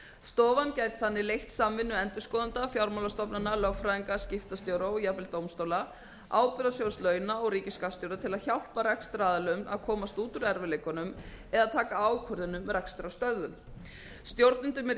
stofan gæti þannig leitt samvinnu endurskoðenda fjármálastofnana lögfræðinga skiptastjóra og jafnvel dómstóla ábyrgðasjóðs launa og ríkisskattstjóra til að hjálpa rekstraraðilum að komast út úr erfiðleikunum eða taka ákvörðun um rekstrarstöðvun stjórnendum yrði